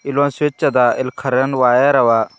ಇಲ್ಲೊಂದ್ ಸ್ವಿಚ್ ಅದ ಇಲ್ ಕರೆಂಟ್ ವೈರ್ ಅವ.